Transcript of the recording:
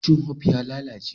Cikin "hope" ya lallace.